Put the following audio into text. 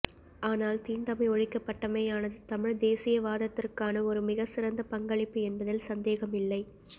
ஆனால் தீண்டாமை ஒழிக்கப்பட்டமையானது தமிழ்த் தேசியவாதத்திற்கான ஒரு மிகச் சிறந்த பங்களிப்பு என்பதில் சந்தேகமில்லை